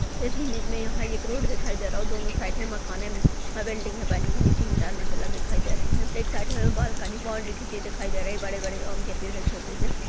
इस इमेज में यहाँ एक रोड दिखाई दे रहा दोनों साइडे मकाने व बिल्डिंग बनी भई तीन चार मंजिल दिखाई दे रही है। एक साइड बालकनी बाउंड्री खींची दिखाई दे रही है बड़े-बड़े आम के पेड़ हैं छोटे से --